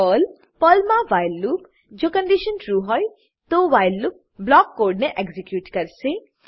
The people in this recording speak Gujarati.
પર્લ પર્લમાં વ્હાઇલ લૂપ કન્ડીશન ટ્રૂ હોય તો વ્હાઈલ લૂપ બ્લોક કોડને એક્ઝીક્યુટ કરશે